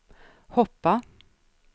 hoppa